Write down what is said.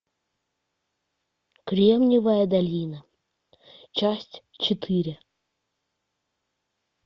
кремниевая долина часть четыре